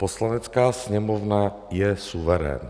Poslanecká sněmovna je suverén.